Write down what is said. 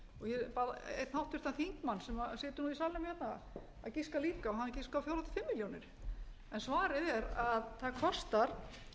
ég bað einn háttvirtan þingmann sem situr í salnum að giska líka og hann giskaði á fjórum til fimm milljónir en svarið er að það kostar